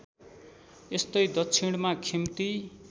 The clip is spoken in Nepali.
यस्तै दक्षिणमा खिम्ती